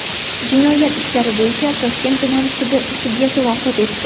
Jinoyat ishlari bo‘yicha Toshkent tuman sudi sudyasi vafot etdi.